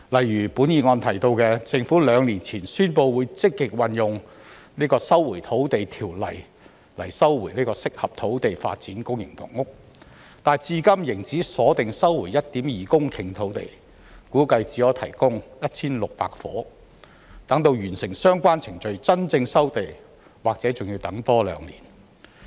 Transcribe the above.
議案提到政府兩年前宣布會積極引用《收回土地條例》收回合適土地發展公營房屋，但至今仍只鎖定收回 1.2 公頃土地，估計只可提供 1,600 伙，待完成相關程序真正收地，或許仍要多等兩年。